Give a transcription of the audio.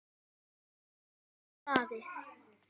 Ragnar Daði.